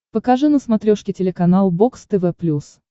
покажи на смотрешке телеканал бокс тв плюс